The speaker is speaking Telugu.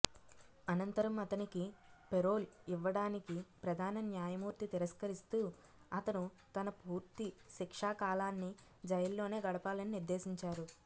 అనంతరం అతనికి పెరోల్ ఇవ్వడానికి ప్రధాన న్యాయమూర్తి తిరస్కరిస్తూ అతను తన పూర్తి శిక్షాకాలాన్ని జైల్లోనే గడపాలని నిర్దేశించారు